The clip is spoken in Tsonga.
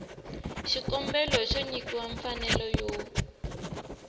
xikombelo xo nyikiwa mfanelo yo